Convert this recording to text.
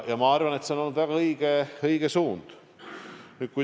Ma arvan, et see on olnud väga õige suund.